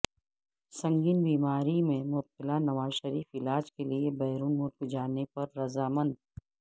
سنگین بیماری میں مبتلا نواز شریف علاج کے لیے بیرون ملک جانے پر رضامند